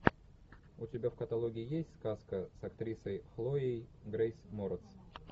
у тебя в каталоге есть сказка с актрисой хлоей грейс морец